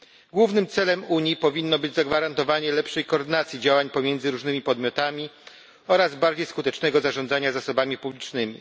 Głównym celem Unii powinno być zagwarantowanie lepszej koordynacji działań pomiędzy różnymi podmiotami oraz bardziej skutecznego zarządzania zasobami publicznymi.